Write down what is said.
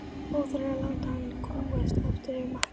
Óþarfi að láta hann kúgast aftur yfir matnum.